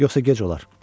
Yoxsa gec olar.